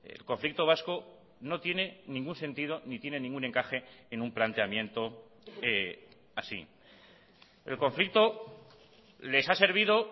el conflicto vasco no tiene ningún sentido ni tiene ningún encaje en un planteamiento así el conflicto les ha servido